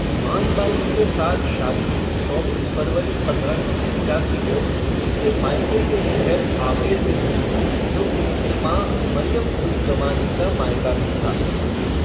मान बाई के साथ शादी चौबीस फरवरी पंद्रह सौ पिच्चासी को उनके मायके शहर आमेर में हुई, जो उनकी माँ मरियम उज़ ज़मानी का मायका भी था।